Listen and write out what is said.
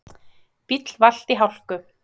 Bíll valt í hálku